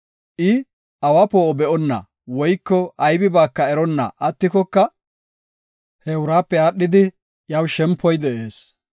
I, awa poo7o be7onna woyko aybibaaka eronna attikoka he uraape aadhidi iyaw shempoy de7ees.